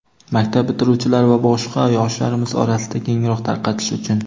Maktab bitiruvchilari va boshqa yoshlarimiz orasida kengroq tarqatish uchun!.